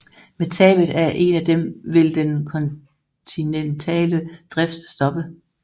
Med tabet af en af dem vil den kontinentale drift stoppe